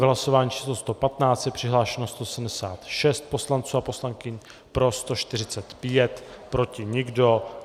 V hlasování číslo 115 je přihlášeno 176 poslanců a poslankyň, pro 145, proti nikdo.